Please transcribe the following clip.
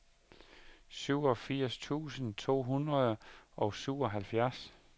syvogfirs tusind to hundrede og syvoghalvfjerds